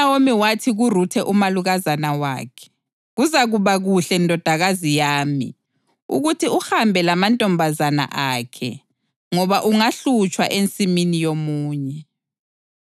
UNawomi wathi kuRuthe umalukazana wakhe, “Kuzakuba kuhle, ndodakazi yami, ukuthi uhambe lamantombazana akhe, ngoba ungahlutshwa ensimini yomunye.”